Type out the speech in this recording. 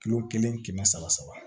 Kilo kelen kɛmɛ saba saba